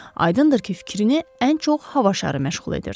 Aydındır ki, fikrini ən çox hava şarı məşğul edirdi.